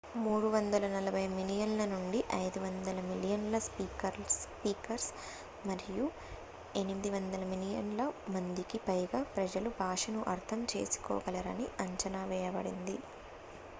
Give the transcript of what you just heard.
340 మిలియన్ల నుంచి 500 మిలియన్ల స్పీకర్స్ మరియు 800 మిలియన్ ల మందికి పైగా ప్రజలు భాషను అర్థం చేసుకోగలరని అంచనావేయబడింది